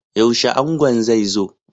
Yaushe angon zai zo?